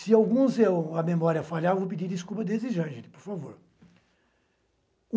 Se alguns, a memória falhar, vou pedir desculpas desde já, gente, por favor.